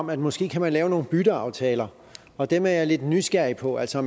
man måske kan lave nogle bytteaftaler og dem er jeg lidt nysgerrig på altså